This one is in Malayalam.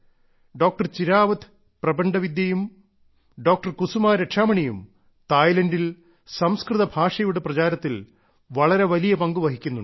ഡോക്ടർ ചിരാവത് പ്രപണ്ഡ് വിദ്യയും ഡോക്ടർ കുസുമാ രക്ഷാമണിയും തായ്ലൻഡിൽ സംസ്കൃത ഭാഷയുടെ പ്രചാരത്തിൽ വളരെ വലിയ പങ്കുവഹിക്കുന്നുണ്ട്